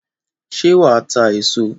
Ṣé wà á ta èso?